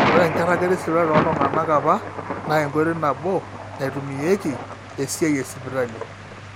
ore enkiragata esipitali tooltung'anak apa naa enkoitoi nabo naitumiayieki esiai esipitali